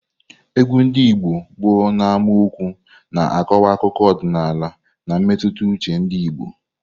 Egwu ndị Igbo bụ n'amaokwu na-akọwa akụkọ ọdịnala na mmetụta uche ndị Igbo.